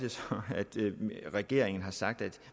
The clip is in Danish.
regeringen har sagt at